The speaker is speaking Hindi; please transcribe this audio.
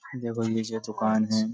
देखो जो दुकान है।